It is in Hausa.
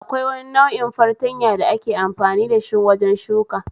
Akwai wani nau'in fartanya da ake amfani dashi wajen shuka